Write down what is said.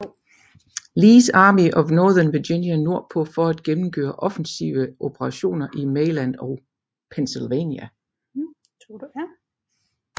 Lees Army of Northern Virginia nordpå for at gennemføre offensive operationer i Maryland og Pennsylvania